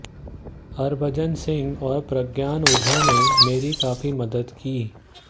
हभजन सिंह और प्रज्ञान ओझा ने मेरी काफी मदद की